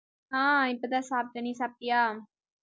ஆஹ் இப்பதான் சாப்பிட்டேன் நீ சாப்பிட்டியா